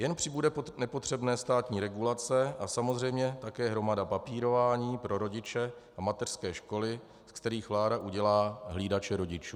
Jen přibude nepotřebné státní regulace a samozřejmě také hromada papírování pro rodiče a mateřské školy, ze kterých vláda udělá hlídače rodičů.